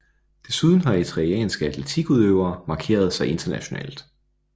Desuden har eritreanske atletikudøvere markeret sig internationalt